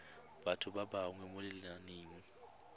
batho ba bewa mo lenaneng